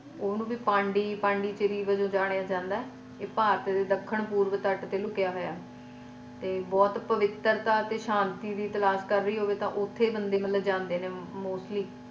ਓਹਨੂੰ ਵੀ ਪੈਂਦੀ ਪਾਂਡੀਚਰੀ ਵੱਜੋ ਜਾਣਿਆ ਜਾਂਦਾ ਅਏ ਭਾਰਤ ਦੇ ਦੱਖਣ ਪੂਰਵ ਤੱਟ ਤੇ ਲੁਕਿਆ ਹੋਇਆ ਤੇ ਬਹੁਤ ਪਵਿੱਤਰਤਾ ਤੇ ਸ਼ਾਂਤੀ ਦੀ ਤਲਾਸ਼ ਕਰ ਰਿਹਾ ਹੋਵੇ ਤਾ ਲੋਕ ਉੱਥੇ ਬੰਦੇ ਮਤਲਬ ਜਾਂਦੇ ਨੇ mostly.